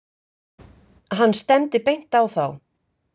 Hann stefndi beint á þá.